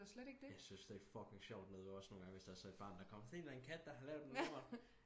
jeg synes det er fucking sjovt nede ved os nogengange hvis der er så et barn der er kommet se der er en kat der har lavet en lort